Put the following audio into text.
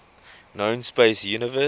known space universe